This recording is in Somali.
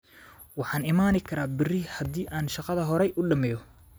Waxaan iman karaa berri haddii aan shaqada hore u dhammeeyo